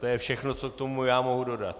To je všechno, co já k tomu mohu dodat.